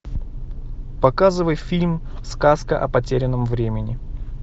показывай фильм сказка о потерянном времени